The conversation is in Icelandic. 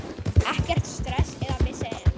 Ekkert stress eða vesen.